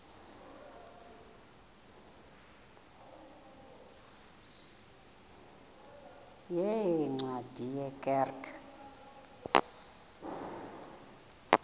yeencwadi ye kerk